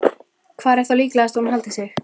Hvar er þá líklegast að hún haldi sig?